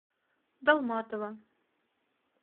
далматово